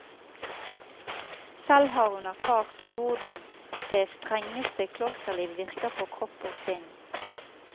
Selv har hun erfart hvordan det strengeste klosterliv virker på kropp og sinn.